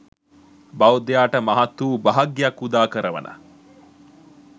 බෞද්ධයාට මහත් වූ භාග්‍යයක් උදා කරවන